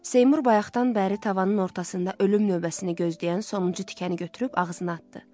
Seymur bayaqdan bəri tavanın ortasında ölüm növbəsini gözləyən sonuncu tikəni götürüb ağzına atdı.